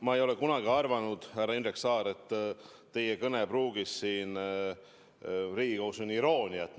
Ma ei ole kunagi arvanud, härra Indrek Saar, et teie kõnepruugis siin Riigikogus on irooniat.